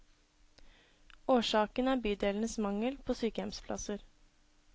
Årsaken er bydelenes mangel på sykehjemsplasser.